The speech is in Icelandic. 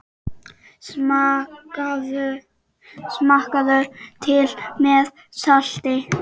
Smakkað til með salti.